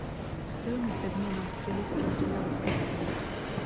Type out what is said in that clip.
стоимость обмена австралийских долларов в россии